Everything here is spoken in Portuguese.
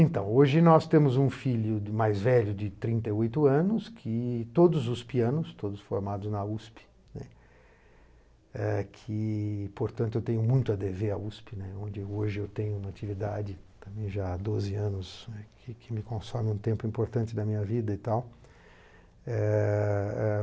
Então, hoje nós temos um filho mais velho de trinta e oito anos, que todos os pianos, todos formados na USP, né, eh que portanto eu tenho muito a dever à USP, né onde hoje eu tenho uma atividade também já há doze anos, que que me consome um tempo importante da minha vida e tal. Eh eh